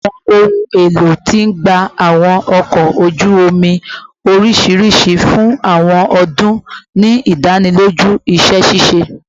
Awọn ohun elo ti gba awọn ọkọ oju omi oriṣiriṣi fun awọn ọdun, ni idaniloju iṣẹ ṣiṣe